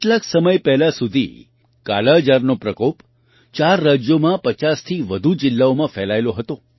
કેટલાક સમય પહેલાં સુધી કાલાજારનો પ્રકોપ ચાર રાજ્યોમાં 50થી વધુ જિલ્લાઓમાં ફેલાયેલો હતો